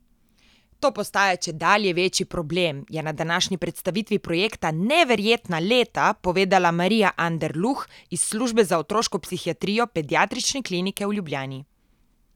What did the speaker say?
To postaja čedalje večji problem, je na današnji predstavitvi projekta Neverjetna leta povedala Marija Anderluh iz službe za otroško psihiatrijo Pediatrične klinike v Ljubljani.